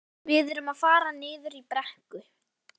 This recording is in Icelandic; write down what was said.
Við erum að fara niður í brekku.